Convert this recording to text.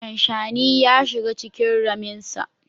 Shanshani ya shiga cikin raminsa.